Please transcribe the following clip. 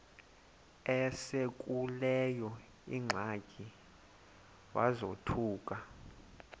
esekuleyo ingxaki wazothuka